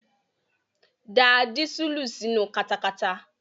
Da dísùlù sínu katakata.